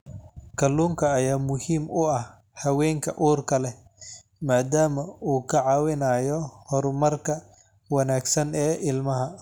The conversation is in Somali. Kalluunka ayaa muhiim u ah haweenka uurka leh maadaama uu ka caawinayo horumarka wanaagsan ee ilmaha.